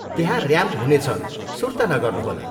त्यहाँ ऱ्याम्प हुनेछ, सुर्ता नगर्नुहोला।